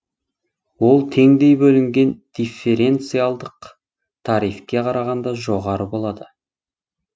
ол теңдей бөлінген дифференциалдық тарифке қарағанда жоғары болады